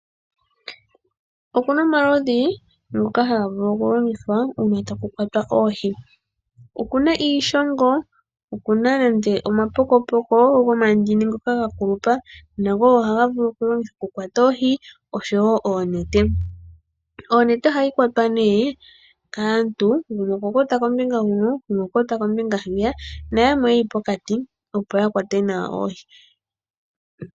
Okuna omaludhi ngoka haga vulu okulongithwa uuna taku kwatwa oohi . Okuna iishongo ,okuna nande omapokopoko gomandini ngoka ga kulupa nago ohaga vulu okukwata oohi oshowo oonete. Onete ohayi kwatwa nee kaantu gumwe okwakwata kombinga nayamwe yakwata kombinga huno opo yakwate nawa oohi